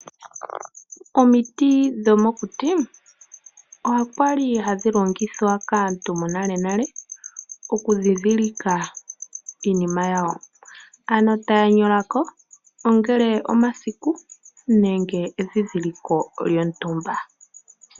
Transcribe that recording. Omiti dhomokuti okwali hadhi longithwa kaantu yonale oku dhidhilika iinima yawo, taya nyolako ongele omasike nenge edhidhiliko lyontumba.